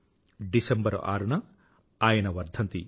December 6న ఆయన వర్ధంతి